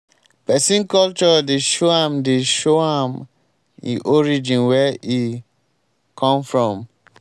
pesin culture dey show am dey show am e origin where e come from.